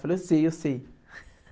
Eu falei, eu sei, eu sei.